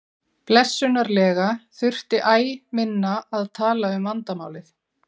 Blessunarlega þurfti æ minna að tala um vandamálið.